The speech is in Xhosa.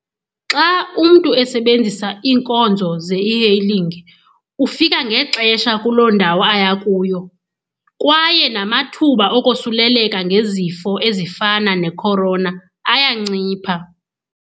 Xa umntu esebenzisa iinkonzo ze-e-hailing ufika ngexesha kuloo ndawo aya kuyo kwaye namathuba okosuleleka ngezifo ezifana nekhorona ayancipha.